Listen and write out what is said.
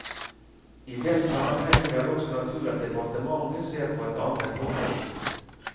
I den sammenheng er det også naturlig at departementet ser på et annet forhold.